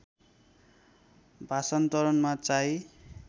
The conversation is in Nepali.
भाषान्तरणमा चाहिँ